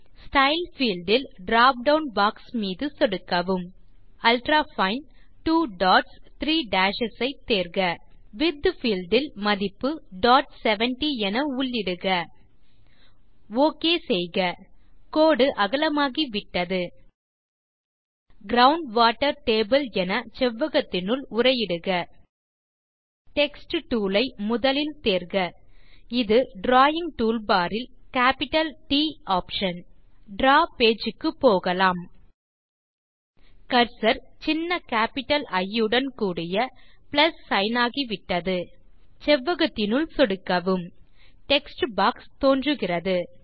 style field இல் drop down box மீது சொடுக்கவும் அல்ட்ராஃபைன் 2 டாட்ஸ் 3 டேஷஸ் ஐ தேர்க விட்த் பீல்ட் இல் மதிப்பு 70 என உள்ளிடுக ஒக் செய்க கோடு அகலமாகிவிட்டது க்ரவுண்ட் வாட்டர் டேபிள் என செவ்வகத்தினுள் உரை இடுக டெக்ஸ்ட் டூல் ஐ முதலில் தேர்க இது டிராவிங் டூல்பார் இல் கேப்பிட்டல் ட் ஆப்ஷன் டிராவ் பேஜ் க்கு போகலாம் கர்சர் சின்ன கேப்பிட்டல் இ உடன் கூடிய பிளஸ் சிக்ன் ஆகிவிட்டது செவ்வகத்தினுள் சொடுக்கவும் டெக்ஸ்ட் பாக்ஸ் தோன்றுகிறது